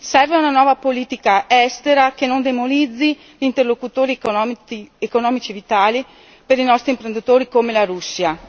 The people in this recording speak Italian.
Serve una nuova politica estera che non demonizzi interlocutori economici vitali per i nostri imprenditori come la Russia.